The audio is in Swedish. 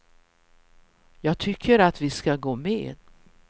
Jag tycker att vi ska gå med.